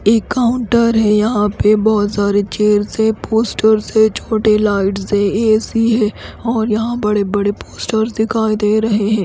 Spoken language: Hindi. एक काउंटर है यहाँ पे बोहोत सारे चेयर्स है पोस्टर है छोटे लाइट्स है ए_ सी है और यहाँ बड़े बड़े पोस्टर्स दिखाई दे रहे है।